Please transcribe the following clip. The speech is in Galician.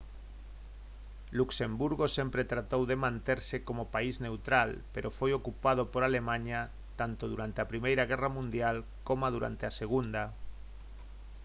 luxemburgo sempre tratou de manterse como país neutral pero foi ocupado por alemaña tanto durante a primeira guerra mundial coma durante a segunda